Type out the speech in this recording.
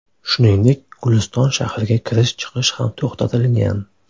Shuningdek, Guliston shahriga kirish-chiqish ham to‘xtatilgan .